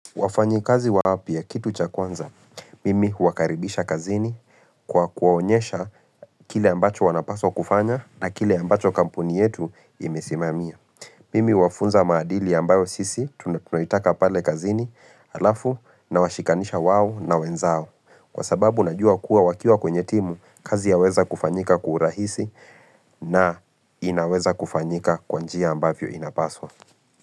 Wafanyi kazi wapiya kitu cha kwanza, mimi kuakaribisha kazini kwa kuwaonyesha kile ambacho wanapaswa kufanya na kile ambacho kampuni yetu imesimamia. Mimi uwafunza maadili ambayo sisi tunaitaka pale kazini alafu na washikanisha wahao na wenzao. Kwa sababu najua kuwa wakia kwenye timu kazi ya weza kufanyika kwaurahisi na inaweza kufanyika kwa nji ya ambavyo inapaswa.